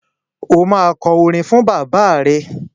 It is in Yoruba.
Ó máa kọ orin fún bàbá rẹ.